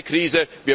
Es ist keine Krise!